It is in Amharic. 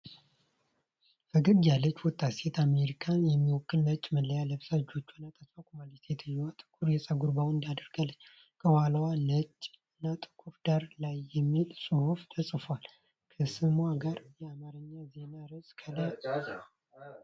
ፈገግ ያለች ወጣት ሴት አሜሪካን የሚወክል ነጭ ማልያ ለብሳ እጆቿን አጣጥፋ ቆማለች። ሴትየዋ ጥቁር የፀጉር ባንድ አድርጋለች፣ ከኋላዋ ነጭ እና ጥቁር ዳራ ላይሚል ጽሁፍ ተጽፏል። ከስሟ ጋር የአማርኛ ዜና ርዕስ ከላይ አለ።